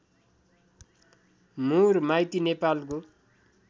मुर माइती नेपालको